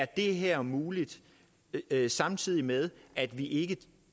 det her er muligt samtidig med at vi ikke